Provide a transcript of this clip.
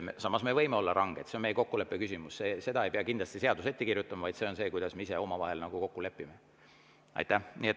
Samas me võime olla ranged, see on meie kokkuleppe küsimus, seda ei pea kindlasti seadus ette kirjutama, vaid see on see, kuidas me ise omavahel kokku lepime.